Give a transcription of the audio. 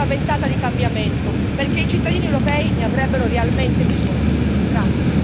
Bene, porti anche qui una ventata di cambiamento, perché i cittadini europei ne avrebbero realmente bisogno.